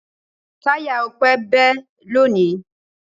Táyà Ọpẹ́ bẹ́ lónìí.